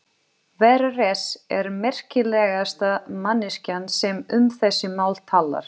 Vera Hress er merkilegasta manneskjan sem um þessi mál talar.